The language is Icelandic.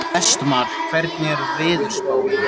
Vestmar, hvernig er veðurspáin?